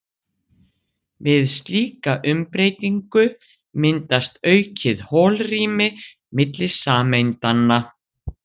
við slíka umbreytingu myndast aukið holrými milli sameindanna